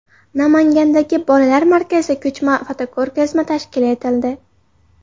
Namangandagi bolalar markazida ko‘chma fotoko‘rgazma tashkil etildi.